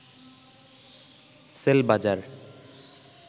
CellBazaar